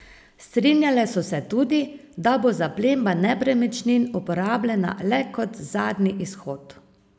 Strinjale so se tudi, da bo zaplemba nepremičnin uporabljena le kot zadnji izhod.